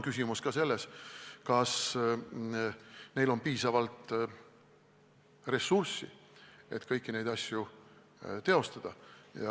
Küsimus on ka selles, kas neil on piisavalt ressurssi, et kõiki neid asju teostada.